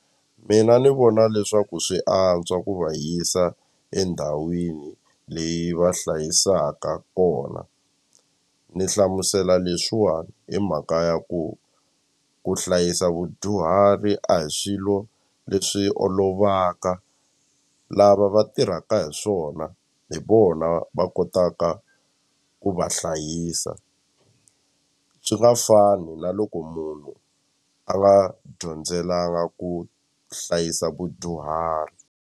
Mina ni vona leswaku swi antswa ku va yisa endhawini leyi va hlayisaka kona ni hlamusela leswiwani hi mhaka ya ku ku hlayisa vudyuhari a hi swilo leswi olovaka lava va tirhaka hi swona hi vona va kotaka ku va hlayisa swi nga fani na loko munhu a nga dyondzelanga ku hlayisa vudyuhari.